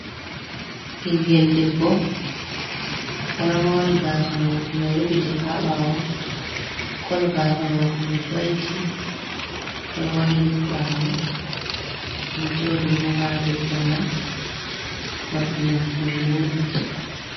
Bingel debbo oɗo mori gasa mako mai rufitika ha ɓawo, kolo gasa mako mai goldin, oɗo wayliti bawo oɗo joɗi ɓo ha do korwal, morɗi mako mai wodi.